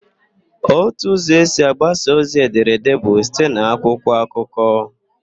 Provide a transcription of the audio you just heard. Ótù ụzọ esi agbasa ozi edere èdé bụ site n'akwụkwọ akụkọ.